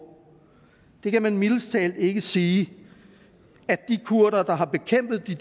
det kan man mildest talt ikke sige at de kurdere der har bekæmpet de